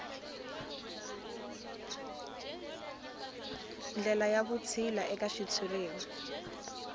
ndlela ya vutshila eka xitshuriwa